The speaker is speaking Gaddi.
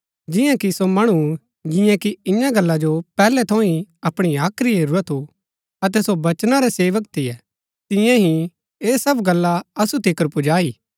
जियां कि सो मणु जियें कि ईयां गल्ला जो पैहलै थऊँ ही अपणी हाख्री हेरूरा थू अतै सो वचना रै सेवक थियै तियें ही ऐह सब गल्ला असु तिकर पुजाई